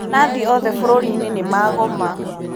Nathi othe bũrũri-inĩnimagoma.